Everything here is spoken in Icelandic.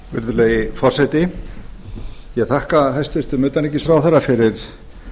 virðulegi forseti ég þakka hæstvirtum utanríkisráðherra fyrir